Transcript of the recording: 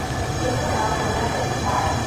Gũtirĩbata wa kuona ndagĩtarĩ.